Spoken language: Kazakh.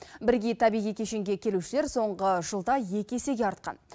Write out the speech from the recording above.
бірегей табиғи кешенге келушілер соңғы жылда екі есеге артқан